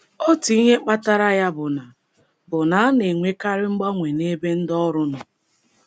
Otu ihe kpatara ya bụ na bụ na a na-enwekarị mgbanwe n'ebe ndị ọrụ nọ.